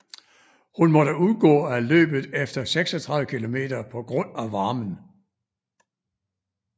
Hun måtte udgå af løbet efter 36 km på grund af varmen